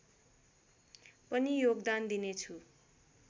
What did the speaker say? पनि योगदान दिनेछु